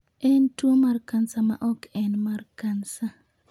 En tuwo mar kansa ma ok en mar kansa.